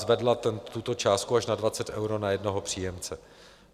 Zvedla tuto částku až na 20 eur na jednoho příjemce.